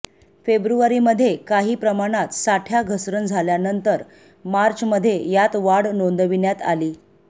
फेब्रुवारीमध्ये काही प्रमाणात साठय़ा घसरण झाल्यानंतर मार्चमध्ये यात वाढ नोंदविण्यात आली